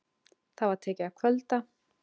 Það var tekið að kvölda.